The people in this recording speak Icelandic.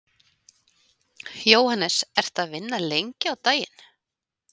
Jóhannes: Hvað ertu að vinna lengi á daginn?